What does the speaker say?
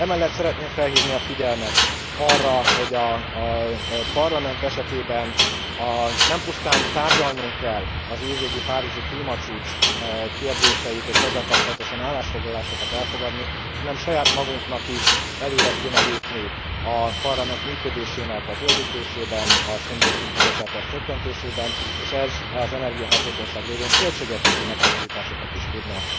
Emellett szeretném felhívni a figyelmet arra, hogy a Parlament esetében nem pusztán tárgyalnunk kell az év végi párizsi klímacsúcs kérdéseit és ezzel kapcsolatosan állásfoglalásokat elfogadni, hanem saját magunknak is előre kéne lépni a Parlament működésének a zöldítésében, a szén dioxid kibocsátás csökkentésében, és ez az energiahatékonyság révén költségvetési megtakarításokat is tudna